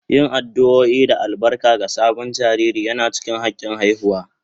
Yin addu'o'i da albarka ga sabon jariri yana cikin hakin haihuwa